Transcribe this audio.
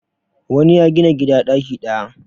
wani ya Gina gida daki daya